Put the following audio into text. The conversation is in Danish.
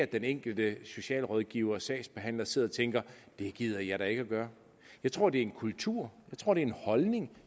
den enkelte socialrådgiver og sagsbehandler sidder og tænker det gider jeg da ikke at gøre jeg tror det er en kultur jeg tror det er en holdning